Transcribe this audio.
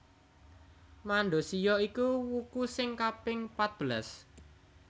Mandasiya iku wuku sing kaping patbelas